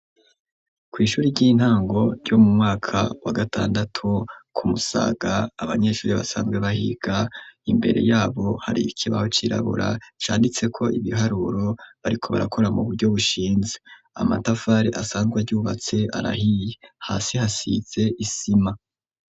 Kw'ishuri ry'intango, ryo mu mwaka, wa gatandatu, ku Musaga, abanyeshure, basanzwe bahiga, imbere y'abo, hari ikibaho cirabura; canditseko ibiharuro, bariko barakora, mu buryo bushinze; amatafari asanzwe aryubatse, arahiye; hasi, hasize isima.